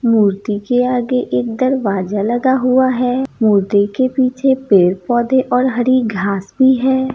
मूर्ति के आगे एक दरवाजा लगा हुआ है मूर्ति के पीछे पेड़-पौधे और हरी घास भी है।